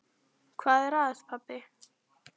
Hvað er að, pabbi?